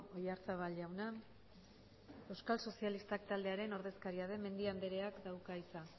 oyarzabal jauna euskal sozialistak taldearen ordezkaria den mendia andreak dauka hitza